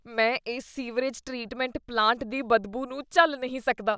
ਮੈਂ ਇਸ sewerage treatment plant ਦੀ ਬਦਬੂ ਨੂੰ ਝੱਲ ਨਹੀਂ ਸਕਦਾ।